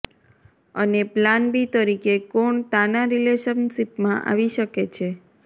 અને plan B તરીકે કોણ તાના રિલેશનશિપમાં આવી શકે છે